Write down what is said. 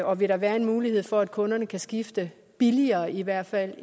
og vil der være en mulighed for at kunderne kan skifte billigere i hvert fald